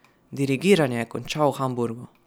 Dirigiranje je končal v Hamburgu.